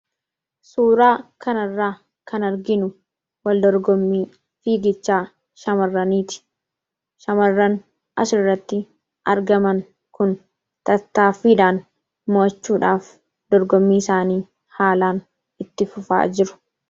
Suuraa kanarraa kan arginu waldorgommii fiigichaa shamarraniiti. shamarran asirratti argaman kun tattaaffiidhaan mo'achuudhaaf dorgommii isaanii haalaan itti fufaa jiru.